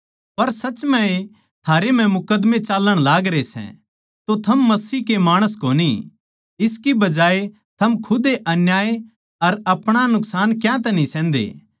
पर साच म्ह ए थारै म्ह मुकदमे चाल्लण लागरे सै तो थम मसीह के माणस कोनी इसकी बजाए थम खुद ए अन्याय अर अपणा नुकसान क्यांतै न्ही सहन्दे